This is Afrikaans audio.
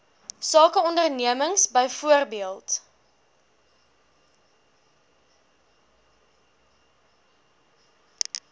sake ondernemings byvoorbeeld